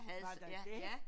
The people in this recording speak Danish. Var der det?